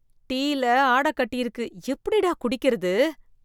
டீயில ஆட கட்டியிருக்கு, எப்படிடா குடிக்கறது?